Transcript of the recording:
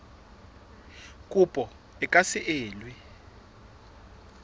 kopo e ka se elwe